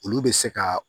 Olu bɛ se ka